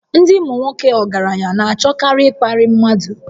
Ndị ụmụnwoke ọgaranya na-achọkarị ịkparị mmadụ